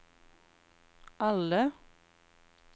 alle